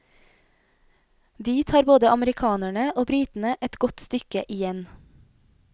Dit har både amerikanerne og britene et godt stykke igjen.